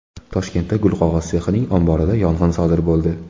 Toshkentda gulqog‘oz sexining omborida yong‘in sodir bo‘ldi.